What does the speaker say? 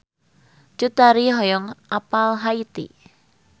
Cut Tari hoyong apal Haiti